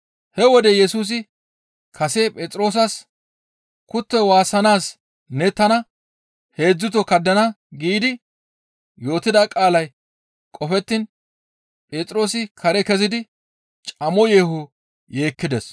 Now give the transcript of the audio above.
He wode Yesusi kase Phexroosas, «Kuttoy waassanaas ne tana heedzdzuto kaddana» giidi yootida qaalay qofettiin, Phexroosi kare kezidi camo yeeho yeekkides.